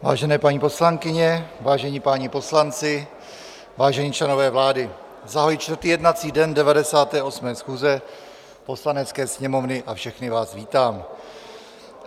Vážené paní poslankyně, vážení páni poslanci, vážení členové vlády, zahajuji čtvrtý jednací den 98. schůze Poslanecké sněmovny a všechny vás vítám.